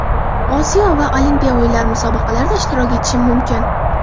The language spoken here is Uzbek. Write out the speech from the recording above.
Osiyo va Olimpiya o‘yinlari Musobaqalarda ishtirok etishim mumkin.